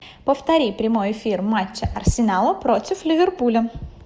повтори прямой эфир матча арсенал против ливерпуля